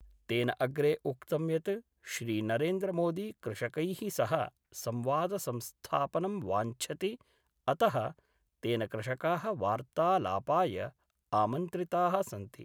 तेन अग्रे उक्तं यत् श्रीनरेन्द्रमोदी कृषकैः सह संवादसंस्थापनं वाञ्छति अत: तेन कृषका: वार्तालापाय आमन्त्रिता: सन्ति।